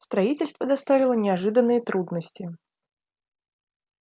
строительство доставило неожиданные трудности